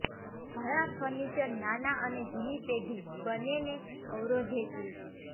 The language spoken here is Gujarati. ઘણા ફર્નિચર નાના અને જૂની પેઢી બંનેને અવરોધે છે